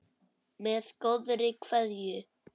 Með góðri kveðju.